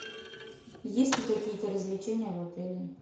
есть ли какие то развлечения в отеле